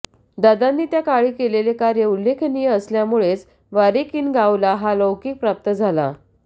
दादांनी त्या काळी केलेले कार्य उल्लेखनीय असल्यामुळेच वारेकिनगावला हा लौकिक प्राप्त झाला